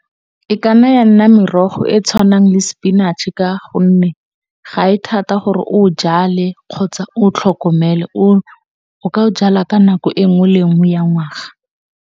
E ka nna ya nna merogo e e tshwanang le sepinatšhe ka gonne, ga e thata gore o e jale, kgotsa o e tlhokomele o ka e jala ka nako e nngwe le nngwe ya ngwaga.